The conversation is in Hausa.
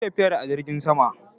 Ku yi tafiyar a jirgin sama!